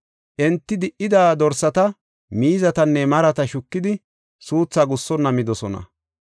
Enti di77ida dorsata, miizatanne marata shukidi suuthaa gussonna midosona.